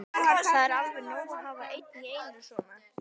Það er alveg nóg að hafa einn í einu svona.